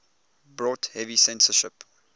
brought heavy censorship